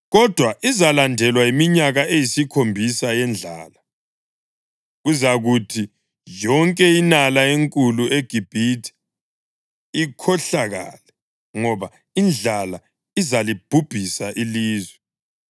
kodwa izalandelwa yiminyaka eyisikhombisa yendlala. Kuzakuthi yonke inala enkulu eGibhithe ikhohlakale, ngoba indlala izalibhubhisa ilizwe.